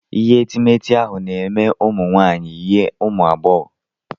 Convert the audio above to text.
Ihe etemeete ihu na-eme ụmụ nwaanyị yie ụmụ agbọghọ.